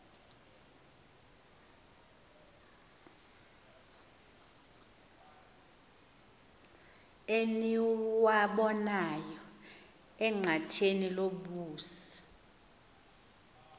eniwabonayo enqatheni lobusi